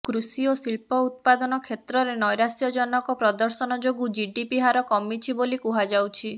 କୃଷି ଓ ଶିଳ୍ପ ଉତ୍ପାଦନ କ୍ଷେତ୍ରରେ ନୈରାଶ୍ୟଜନକ ପ୍ରଦର୍ଶନ ଯୋଗୁଁ ଜିଡିପି ହାର କମିଛି ବୋଲି କୁହାଯାଉଛି